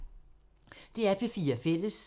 DR P4 Fælles